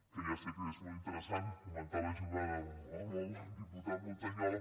que ja sé que és molt interessant comentar la jugada amb el diputat montañola